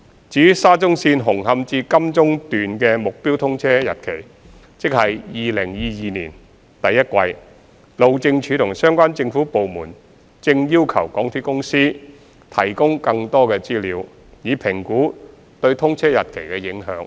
至於沙中綫紅磡至金鐘段的目標通車日期，即2022年第一季，路政署和相關政府部門正要求港鐵公司提供更多資料，以評估對通車日期的影響。